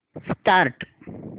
start